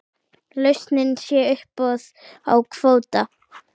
Lausnin sé uppboð á kvóta.